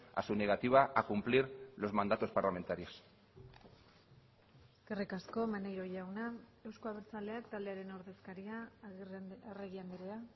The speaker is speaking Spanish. a su negativa a cumplir los mandatos parlamentarios eskerrik asko maneiro jauna euzko abertzaleak taldearen ordezkaria arregi andrea